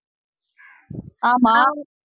ஆமாம்